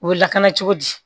U bɛ lakana cogo di